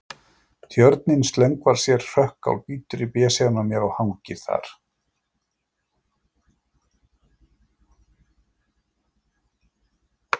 Tjörninni slöngvar sér hrökkáll, bítur í besefann á mér og hangir þar.